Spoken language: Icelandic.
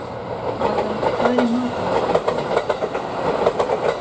Magga, hvað er í matinn á sunnudaginn?